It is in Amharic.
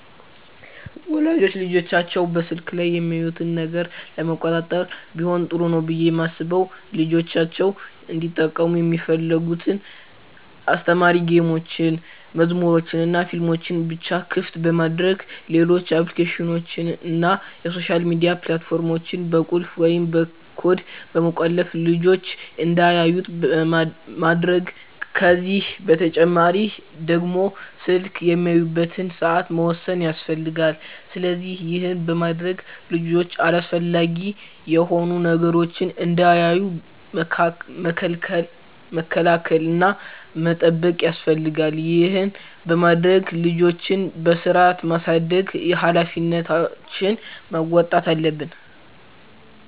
ወላጆች ልጆቻቸው በስልክ ላይ የሚያዩትን ነገር ለመቆጣጠር ቢሆን ጥሩ ነው ብየ ማስበው ልጆቻቸው እንዲጠቀሙ ሚፈልጉትን አስተማሪ ጌሞችን፣ መዝሙሮችንናፊልሞችን ብቻ ክፍት በማድረግ ሌሎች አፕሊኬሽኖችን እና የሶሻል ሚዲያ ፕላት ፎርሞችን በቁልፍ ወይም በኮድ በመቆለፍ ልጅች እንዳያዩት ማድረግ ከዚህ በተጨማሪ ደግሞ ስልክ የሚያዩበትን ሰአት መወሰን ያስፈልጋል። ስለዚህ ይህን በማድረግ ልጆች አላስፈላጊ የሆኑ ነገሮችን እንዳያዩ መከላከል እና መጠበቅ ያስፈልጋል ይህን በማድረግ የልጆችን በስርአት የማሳደግ ሀላፊነቶችን መወጣት ይቻላል።